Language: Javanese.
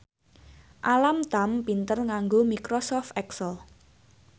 Alam Tam pinter nganggo microsoft excel